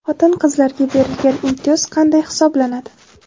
Xotin-qizlarga berilgan imtiyoz qanday hisoblanadi?.